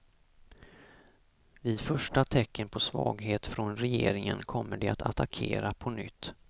Vid första tecken på svaghet från regeringen kommer de att attackera på nytt.